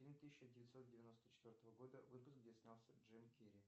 фильм тысяча девятьсот девяносто четвертого года выпуска где снялся джим керри